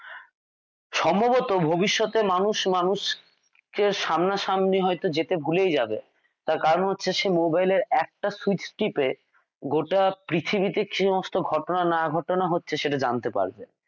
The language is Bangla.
সম্ভবত ভবিষ্যতে মানুষ মানুষকে সামনাসামনি হয়ত যেতেই ভুলেই যাবে তার কারণ হচ্ছে সে মোবাইলের একটা switch টিপে গোটা পৃথিবী কি সমস্ত ঘটনা না ঘটনা হচ্ছে সেটা জানতে পারবে।